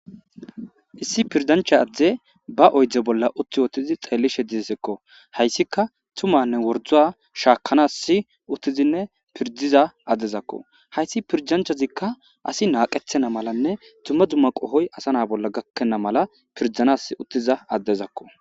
issi pirdancha adde ba oydze bolla utti ottizi xeellishe dizesekko hayssika tumanne wordua shaakanas uttizinne pirdiza addezakko hayssi pirjanchazikka asi naaqethena malanne tuma dumma qohoy asa na bolla gakkenna mala pirdanas uttiza addezakko